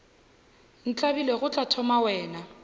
ntlabile go tla thoma wena